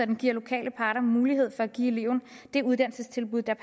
den giver lokale parter mulighed for at give eleven det uddannelsestilbud der